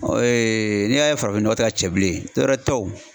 n'i y'a ye farafinnɔgɔ tɛ ka cɛ bilen dɔwɛrɛ tɛ o.